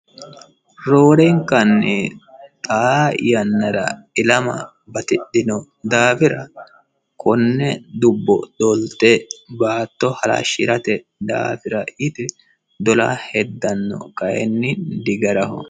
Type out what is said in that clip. roorenkanni xaa yannara ilama batidhino daafira konne dubbo dolte baatto halashshirate daafira yite dola heddanno kayiinni di garaho.